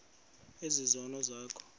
ezi zono zakho